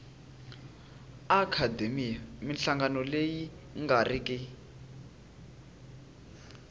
akhademiya minhlangano leyi nga riki